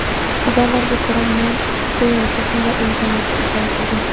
Xabarlarga ko‘ra, Mun go‘yoki, shunday imkoniyatga ishora qilgan.